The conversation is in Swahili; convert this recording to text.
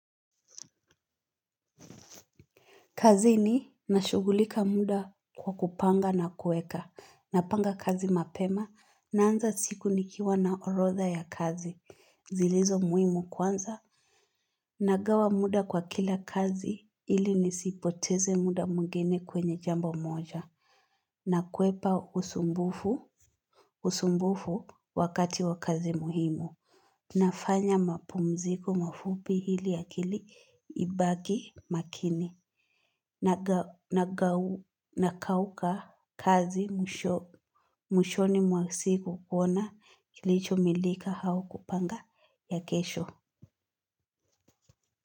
Kazi ni nashugulika muda kwa kupanga na kueka. Napanga kazi mapema naanza siku nikiwa na orotha ya kazi. Zilizo muhimu kwanza nagawa muda kwa kila kazi ili nisiipoteze muda mwingine kwenye jambo moja. Na kwepa usumbufu, usumbufu wakati wa kazi muhimu. Nafanya mapumziko mafupi hili ya kili ibaki makini na kauka kazi mwisho mwishoni mwa siku kuona kilicho milika hao kupanga ya kesho.